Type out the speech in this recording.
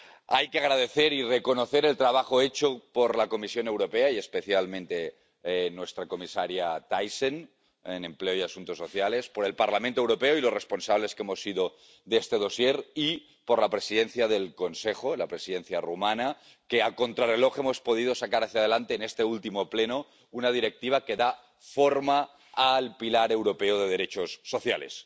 Hay que agradecer y reconocer el trabajo hecho por la Comisión Europea, y especialmente por nuestra comisaria de Empleo y Asuntos Sociales, Thyssen, por el Parlamento Europeo y los que hemos sido responsables de este dosier, y por la presidencia del Consejo, la Presidencia rumana, que a contrarreloj hemos podido sacar hacia adelante, en este último Pleno, una directiva que da forma al pilar europeo de derechos sociales.